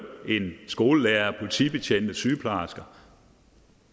end skolelærere politibetjente sygeplejersker